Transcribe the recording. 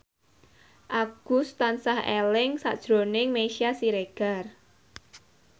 Agus tansah eling sakjroning Meisya Siregar